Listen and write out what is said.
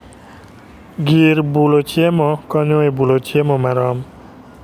Gir bulo chiemo konyo e bulo chiemo marom